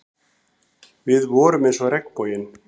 Við vorum eins og regnboginn.